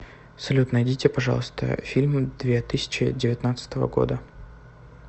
салют найдите пожалуйста фильм две тысячи девятнадцатого года